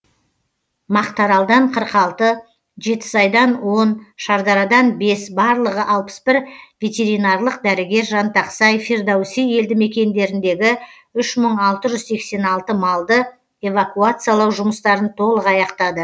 мақтааралдан қырық алты жетісайдан он шардарадан бес барлығы алпыс бір ветеринарлық дәрігер жантақсай фирдоуси елді мекендеріндегі үш мың алты жүз сексен алтын малды эвакуациялау жұмыстарын толық аяқтады